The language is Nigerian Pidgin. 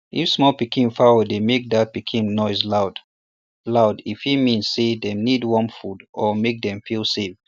if small pikin fowl dey make that pikin noiseloud loud e fit mean say dem need warm food or make dem feel safe